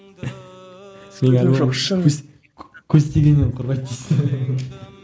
көз тигеннен қорғайды дейсің ғой